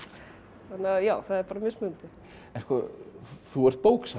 þannig að já það er bara mismunandi þú ert bóksali